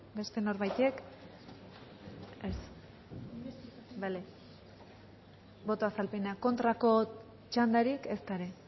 beste norbaitek ez bale boto azalpena kontrako txandarik ezta ere